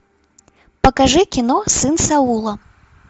покажи кино сын саула